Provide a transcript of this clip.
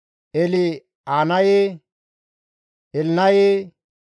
El7enaaye, Elnaye, El7eele,